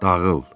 Dağıl.